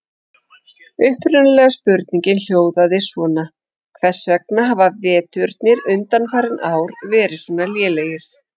Upprunalega spurningin hljóðaði svona: Hvers vegna hafa veturnir undanfarin ár verið svona lélegir?